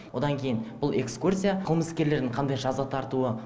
одан кейін бұл экскурсия қылмыскерлердің қандай жаза тартуы